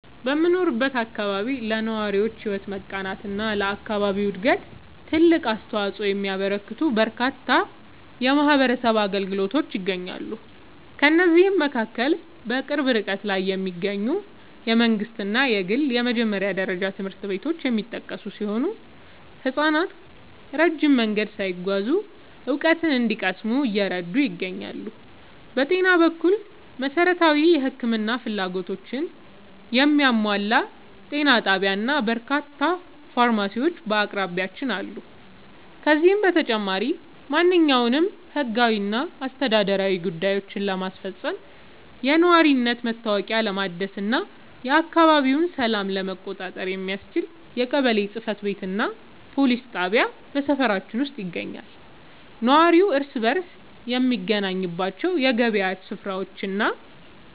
በምኖርበት አካባቢ ለነዋሪዎች ሕይወት መቃናትና ለአካባቢው ዕድገት ትልቅ አስተዋፅኦ የሚያበረክቱ በርካታ የማኅበረሰብ አገልግሎቶች ይገኛሉ። ከእነዚህም መካከል በቅርብ ርቀት ላይ የሚገኙ የመንግሥትና የግል የመጀመሪያ ደረጃ ትምህርት ቤቶች የሚጠቀሱ ሲሆን፣ ሕፃናት ረጅም መንገድ ሳይጓዙ እውቀት እንዲቀስሙ እየረዱ ይገኛሉ። በጤና በኩል፣ መሠረታዊ የሕክምና ፍላጎቶችን የሚያሟላ ጤና ጣቢያና በርካታ ፋርማሲዎች በአቅራቢያችን አሉ። ከዚህም በተጨማሪ፣ ማንኛውንም ሕጋዊና አስተዳደራዊ ጉዳዮችን ለማስፈጸም፣ የነዋሪነት መታወቂያ ለማደስና የአካባቢውን ሰላም ለመቆጣጠር የሚያስችል የቀበሌ ጽሕፈት ቤትና የፖሊስ ጣቢያ በሰፈራችን ውስጥ ይገኛሉ። ነዋሪው እርስ በርስ የሚገናኝባቸው የገበያ ሥፍራዎችና